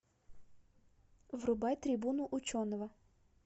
врубай трибуну ученого